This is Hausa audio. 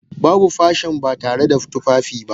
Babu fashion ba tare da tufafi ba.